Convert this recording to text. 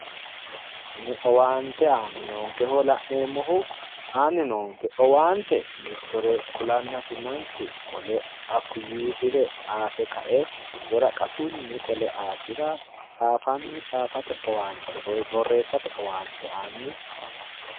kuni owaante aanni noonkeho la'neemmohu aanni noonke owaante mittore kulannasi manchu qole hakku yiisire tsaafe ka"e woraqatunni qole aasira tsaafanni tsaafate woy borreessate owaante aanni afamannno